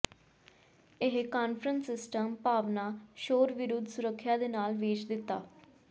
ਇਹ conference system ਭਾਵਨਾ ਸ਼ੋਰ ਵਿਰੁੱਧ ਸੁਰੱਖਿਆ ਦੇ ਨਾਲ ਵੇਚ ਦਿੱਤਾ